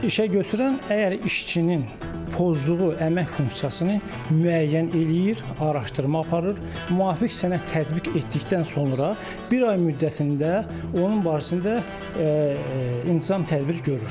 İşəgötürən əgər işçinin pozduğu əmək funksiyasını müəyyən eləyir, araşdırma aparır, müvafiq sənəd tətbiq etdikdən sonra bir ay müddətində onun barəsində intizam tədbiri görür.